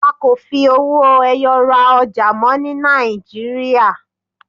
A kò fi owó ẹyọ ra ọjà mọ́ ní Nàìjíríà.